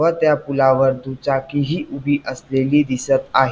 व त्या पुलावर दुचाकी हि उभी असलेली दिसत आहे.